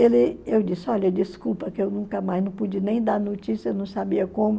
Ele... Eu disse, olha, desculpa que eu nunca mais não pude nem dar notícia, não sabia como.